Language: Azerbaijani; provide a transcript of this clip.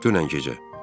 Dünən gecə.